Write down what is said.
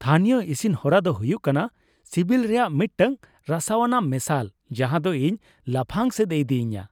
ᱛᱷᱟᱹᱱᱤᱭᱚ ᱤᱥᱤᱱ ᱦᱚᱨᱟ ᱫᱚ ᱦᱩᱭᱩᱜ ᱠᱟᱱᱟ ᱥᱤᱵᱤᱞ ᱨᱮᱭᱟᱜ ᱢᱤᱫᱴᱟᱝ ᱨᱟᱹᱥᱠᱟᱹᱣᱟᱱᱟᱜ ᱢᱮᱥᱟᱞ ᱡᱟᱦᱟᱸ ᱫᱚ ᱤᱧ ᱞᱟᱯᱷᱟᱝ ᱥᱮᱫ ᱮ ᱤᱫᱤᱧᱟ ᱾